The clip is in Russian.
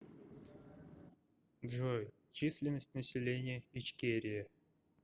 джой численность населения ичкерия